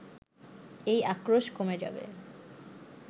এই আক্রোশ কমে যাবে